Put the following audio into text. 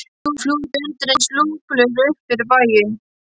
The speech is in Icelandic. Hann flúði undir eins lúpulegur upp fyrir bæinn.